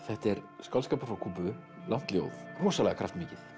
þetta er skáldskapur frá Kúbu langt ljóð rosalega kraftmikið